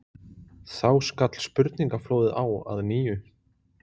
Þá skall spurningaflóðið á að nýju.